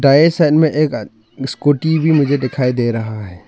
Right side में एक scooty भी मुझे दिखाई दे रहा है।